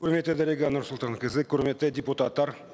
құрметті дариға нұрсұлтанқызы құрметті депутаттар